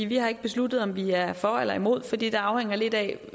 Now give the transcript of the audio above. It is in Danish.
vi har ikke besluttet om vi er for eller imod for det afhænger lidt af